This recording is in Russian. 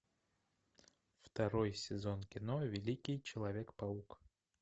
второй сезон кино великий человек паук